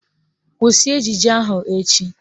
Kwụsị ejije ahụ echi!